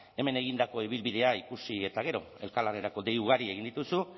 hemen egindako ibilbidea ikusi eta gero elkarlanerako dei ugari egin dituzu